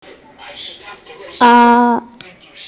Og þarmeð stofnuðu þeir Fótboltafélagið Kára.